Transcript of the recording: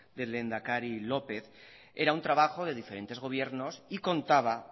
del lehendakari lópez era un trabajo de diferentes gobiernos y contaba